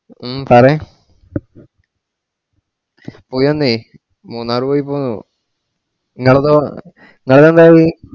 ഹ്മ് പറയി പോയിവന്നേയ് മൂന്നാർപോയിപോന്നൂ നിങ്ങളതോ നിങ്ങളതെന്തായി